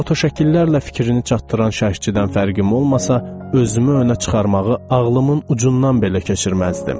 Fotoşəkillərlə fikrini çatdıran şəxçidən fərqim olmasa, özümü önə çıxarmağı ağlımın ucundan belə keçirməzdim.